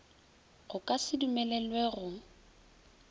go ka se dumelelwe go